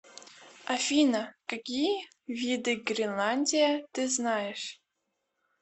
афина какие виды гринландия ты знаешь